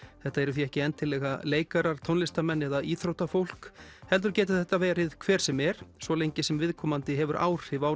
þetta eru því ekki endilega leikarar tónlistarmenn eða íþróttafólk heldur getur þetta verið hver sem er svo lengi sem viðkomandi hefur áhrif á